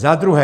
Za druhé...